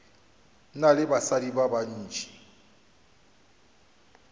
na le basadi ba bantši